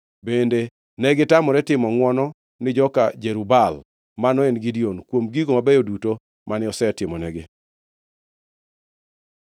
Bende negitamore timo ngʼwono ni joka Jerub-Baal (mano en Gideon) kuom gigo mabeyo duto mane osetimonigi.